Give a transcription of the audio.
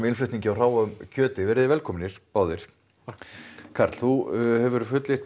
innflutningi á hráu kjöti verið velkomnir báðir karl þú fullyrðir